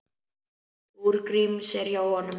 Trú Gríms er hjá honum.